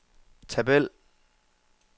tabel